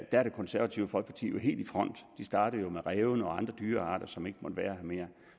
er det konservative folkeparti jo helt i front de startede jo med rævene og andre dyrearter som ikke måtte være her mere